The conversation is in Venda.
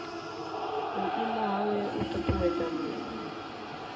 vhuimo hawe u ṱuṱuwedza muṅwe